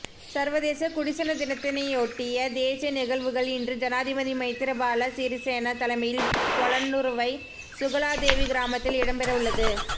சர்வதேச குடிசன தினத்தினையொட்டிய தேசிய நிகழ்வுகள் இன்று ஜனாதிபதி மைத்திரிபால சிறிசேன தலைமையில் பொலன்னறுவை சுகலாதேவி கிராமத்தில் இடம்பெறவுள்ளது